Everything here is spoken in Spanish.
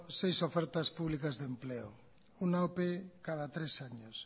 seis ofertas públicas de empleo una ope cada tres años